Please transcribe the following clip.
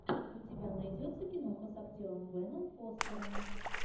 у тебя найдется киноха с актером беном фостером